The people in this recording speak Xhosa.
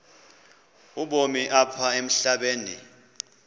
ubomi apha emhlabeni